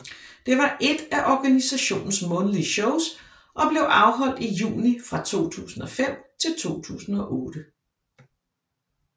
Det var ét af organisationens månedlige shows og blev afholdt i juni fra 2005 til 2008